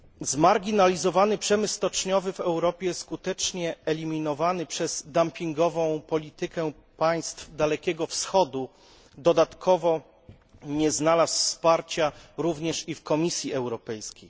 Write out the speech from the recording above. Zmarginalizowany przemysł stoczniowy, w Europie skutecznie eliminowany przez dumpingową politykę państw Dalekiego Wschodu, dodatkowo nie znalazł wsparcia również i w Komisji Europejskiej.